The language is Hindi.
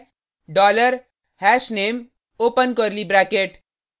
dollar hashname open curly bracket